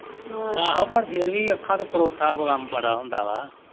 ਆਹੋ ਪਰ ਫੇਰ ਵੀ ਅੱਖਾਂ ਤੋਂ ਪਰੋਤਾ ਕੰਮ ਬੜਾ ਹੁੰਦਾ ਵਾ